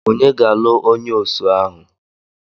Ònye ga-alụ onye osu ahụ?